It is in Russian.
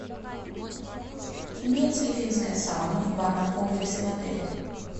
имеется ли финская сауна в банном комплексе в отеле